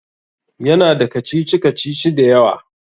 Ya na da kacici-kacici da yawa